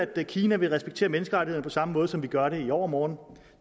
at kina vil respektere menneskerettighederne på samme måde som vi gør det i overmorgen